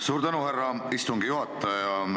Suur tänu, härra istungi juhataja!